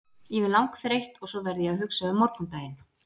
Ég er langþreytt og svo verð ég að hugsa um morgundaginn.